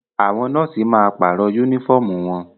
Àwọn nọ́ọ̀sì máa pàrọ̀ yúnífọ̀mù wọn